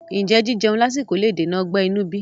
Ǹjẹ́ jíjeun lásìkò le dènà ọgbẹ́ inú bí?